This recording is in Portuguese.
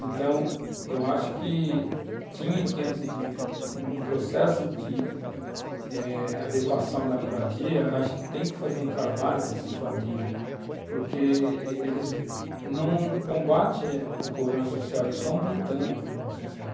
Então, eu acho que tinha que, antes de, num processo de eh adequação da moradia, acho que tem que fazer um trabalho com essas famílias, porque eles não combatem o problema social, eles estão aumentando o problema social.